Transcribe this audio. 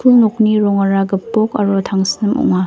nokni rongara gipok aro tangsim ong·a.